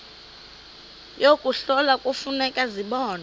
yokuhlola kufuneka zibonwe